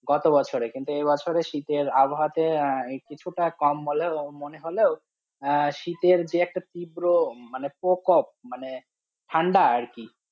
গতবছরে কিন্তু এই বছরে, শীতের আবহাওয়াতে কিছুটা কম হলে ও মনে হলে ও শীতের যে একটা তিব্র প্রকোপ মানে ঠান্ডা আর কি